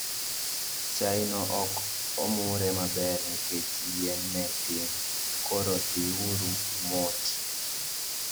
Chai no ok omurre maber nikech yien ne tin, koro dhi uru umot